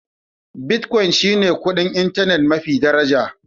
Bitcoin shi ne kuɗin intanet mafi daraja.